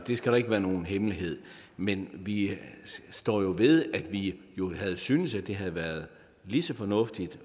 det skal ikke være nogen hemmelighed men vi står ved at vi synes at det have været lige så fornuftigt